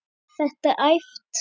Var þetta æft?